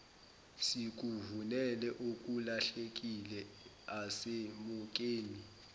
sikufunele okulahlekile asemukeli